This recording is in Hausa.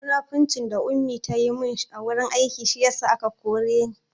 Munafurcin da Ummi ta yi mun a wurin aiki shi ya sa aka koren ni